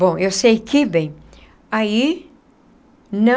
Bom, eu sei que, bem, aí não...